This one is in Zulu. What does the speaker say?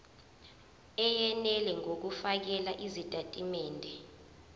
eyenele ngokufakela izitatimende